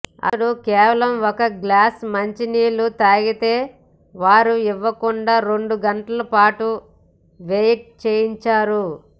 అతడు కేవలం ఒక గ్లాస్ మంచి నీళ్లు అడిగితే వారు ఇవ్వకుండా రెండు గంటల పాటు వెయిట్ చేయించారు